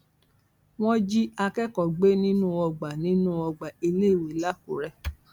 wọn jí akẹkọọ gbé nínú ọgbà nínú ọgbà iléèwé lakúrẹ